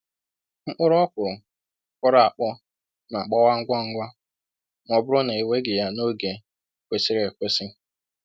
Mkpụrụ okwuru kpọrọ akpọ n'agbawa ngwa ngwa ma ọ bụrụ na e weghị ya n'oge kwesịrị ekwesị.